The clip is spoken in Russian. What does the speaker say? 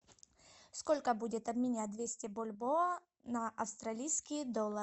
сколько будет обменять двести бальбоа на австралийский доллар